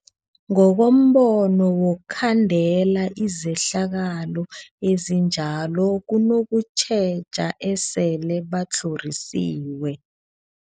Ngokombono wokhandela izehlakalo ezinjalo kunokutjheja esele batlhorisiwe.